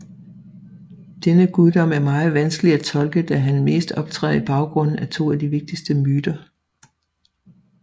Denne guddom er meget vanskelig at tolke da han mest optræder i baggrunden af to af de vigtigste myter